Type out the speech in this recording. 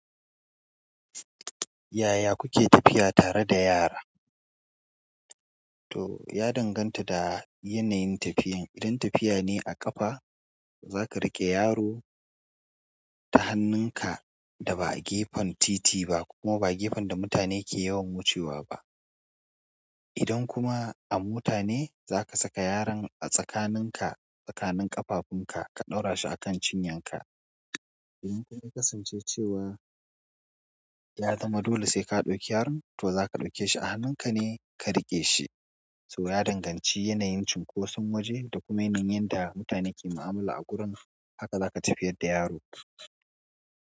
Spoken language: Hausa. Yaya kuke tafiya tare da yara? To, ya danganta da yanayin tafiyan. Idan tafiya ne a ƙafa, zaka riƙe yaro ta hannunka da ba a gefen titi ba kuma ba gefen da mutane ke yawan wucewa ba. Idan kuma a mota ne, zaka saka yaron a tsakaninka, tsakanin ƙafafunka ka ɗaura shi a kan cinyanka. Idan kun kasance cewa ya zama dole sai ka ɗauki yaron, to zaka ɗauke shi a hannunka ne ka riƙe shi. To ya danganci yanayin cunkoson waje da kuma yanayin da mutane ke ma'amala a gurin, haka za ka tafiyar da yaro.